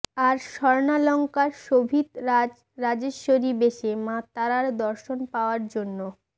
আর স্বর্ণালঙ্কার শোভিত রাজ রাজেশ্বরী বেশে মা তারার দর্শন পাওয়ার জন্য